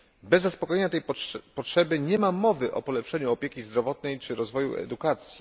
Bez zaspokojenia tej potrzeby nie ma mowy o polepszeniu opieki zdrowotnej czy rozwoju edukacji.